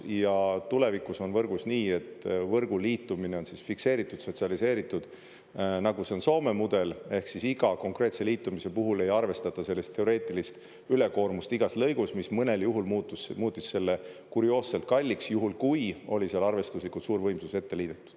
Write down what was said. Ja tulevikus on võrgus nii, et võrgu liitumine on fikseeritud, sotsialiseeritud, nagu see on Soome mudel, ehk siis iga konkreetse liitumise puhul ei arvestata sellist teoreetilist ülekoormust igas lõigus, mis mõnel juhul muutis selle kurioosselt kalliks, juhul kui oli seal arvestuslikult suur võimsus ette liidetud.